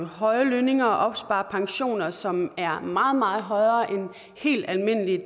høje lønninger og opspare pensioner som er meget meget højere end helt almindelige